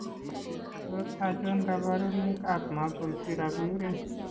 Tos achon kabarunaik ab Maple syrup urine ?